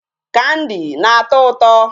Candy na-atọ ụtọ.